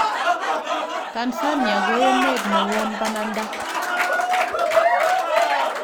Tanzania ko emet ne won bananda